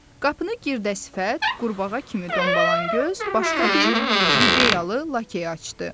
Qapını Girdə sifət, qurbağa kimi dombalan göz başqa bir Livreyalı Lakey açdı.